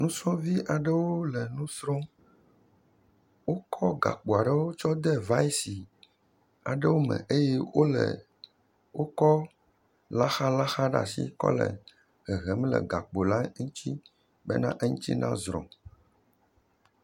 Nusrɔ̃vi aɖewo le enu srɔ̃m, wokɔ gakpo aɖewo tsɔ de vai si aɖewo me, eye wole..wokɔ laxalaxa ɖe asi kɔ le hehem le gakpo la ŋuti bena eŋuti na zrɔ̃.